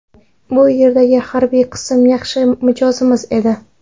Bu yerdagi harbiy qism yaxshi mijozimiz edi.